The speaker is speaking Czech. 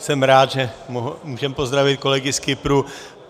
Jsem rád, že můžeme pozdravit kolegy z Kypru.